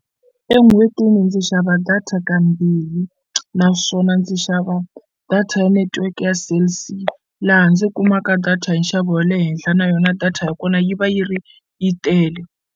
En'hwetini ndzi xava data kambirhi naswona ndzi xava data ya netiweke ya Cell C laha ndzi kumaka data hi nxavo wa le henhla na yona data ya kona yi va yi ri yi tele.